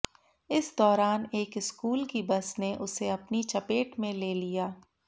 इस दौरान एक स्कूल की बस ने उसे अपनी चपेट में ले लिया